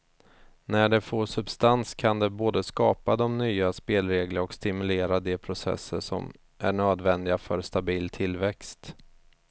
När det får substans kan det både skapa de nya spelregler och stimulera de processer som är nödvändiga för stabil tillväxt.